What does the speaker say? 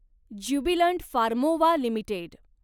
Jubilant Pharmova limited